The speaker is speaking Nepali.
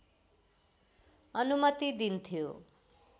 अनुमति दिन्थ्यो